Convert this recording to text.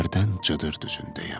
hərdən cıdır düzündəyəm.